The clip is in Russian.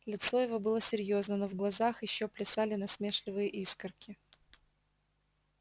лицо его было серьёзно но в глазах все ещё плясали насмешливые искорки